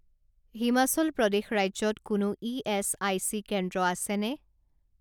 হিমাচল প্ৰদেশ ৰাজ্যত কোনো ইএচআইচি কেন্দ্ৰ আছেনে?